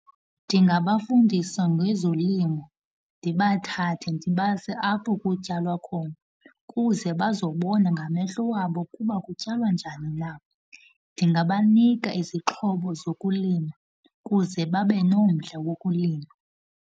Ndingabafundisa ngezolimo, ndibathathe ndibase apho kutyalwa khona kuze bazobona ngamehlo wabo ukuba kutyalwa njani na. Ndingabanika izixhobo zokulima kuze babe nomdla wokulima.